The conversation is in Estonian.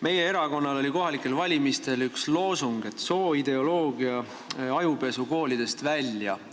Meie erakonnal oli kohalikel valimistel üks loosung, et sooideoloogia ajupesu viidaks koolidest välja.